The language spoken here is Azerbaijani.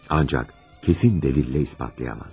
Ancaq kesin delille ispatlayamaz.